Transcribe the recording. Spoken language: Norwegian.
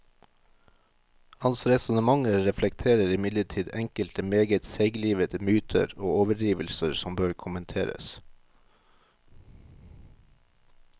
Hans resonnementer reflekterer imidlertid enkelte meget seiglivede myter og overdrivelser som bør kommenteres.